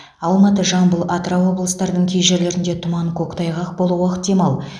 алматы жамбыл атырау облыстарының кей жерлеріңде тұман көктайғақ болуы ықтимал